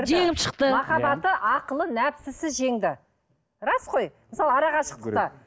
жеңіп шықты махаббаты ақылы нәпсісі жеңді рас қой мысалы арақашықтықта